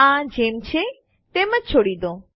આ જેમ છે તેમ જ છોડી દો